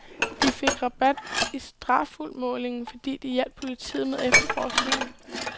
De fik rabat i strafudmålingen, fordi de hjalp politiet med efterforskningen.